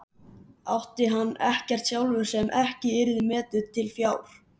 Átti hann ekkert sjálfur sem ekki yrði metið til fjár?